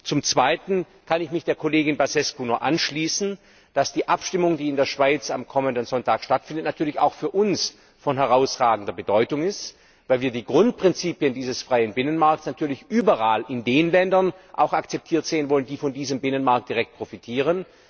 Zum Zweiten kann ich mich der Kollegin Băsescu nur anschließen, dass die Abstimmung, die in der Schweiz am kommenden Sonntag stattfindet, natürlich auch für uns von herausragender Bedeutung ist, weil wir die Grundprinzipien dieses freien Binnenmarkts natürlich überall in den Ländern auch akzeptiert sehen wollen, die von diesem Binnenmarkt direkt profitieren.